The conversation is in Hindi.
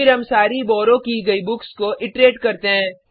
फिर हम सारी बॉरो की गयी बुक्स को इट्रेट करते हैं